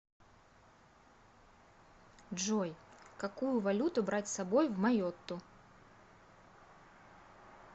джой какую валюту брать с собой в майотту